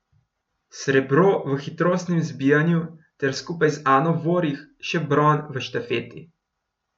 Srebro v hitrostnem zbijanju ter skupaj z Ano Vorih še bron v štafeti.